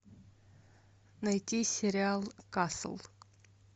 найти сериал касл